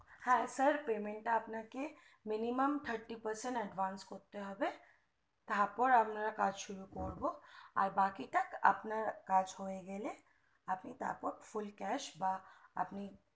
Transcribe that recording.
হ্যা sir payment টা আপনা কে minimum thirty percent করতে হবে তারপর আমরা কাজ শুরু করবো আর বাকি তা আপনার কাজ হয়ে গেলে আপনি তারপর full cash বা আপনি